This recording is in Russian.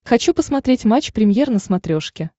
хочу посмотреть матч премьер на смотрешке